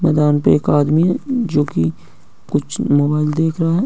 मैदान पे एक आदमी है जोकि कुछ मोबाइल देख रहा है।